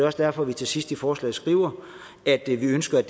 også derfor at vi til sidst i forslaget skriver at vi ønsker at